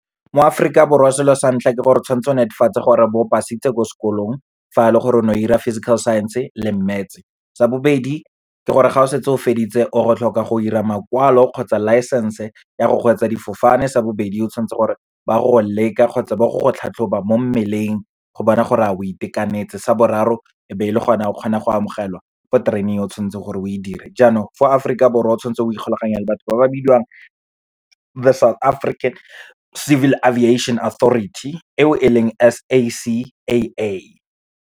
Mo Aforika Borwa selo sa ntlha ke gore, o tshwanetse o netefatse gore o bo passitse ko sekolong, fa e le gore o ne o ira physical science-e le maths-e. Sa bobedi ke gore, ga o setse o feditse o a go tlhoka go ira makwalo kgotsa licence-e ya go kgweetsa difofane. Sa bobedi, o tshwanetse gore ba go go leka kgotsa ba go go tlhatlhoba mo mmeleng, go bona gore a o itekanetse. Sa boraro, e be e le gona o kgonang go amogelwa ko training e o tshwantseng gore o e dire. Jaanong fo Aforika Borwa, o tshwanetse o ikgolaganye le batho ba ba bidiwang the South African Civil Aviation Authority, eo e leng S_A_C_A_A.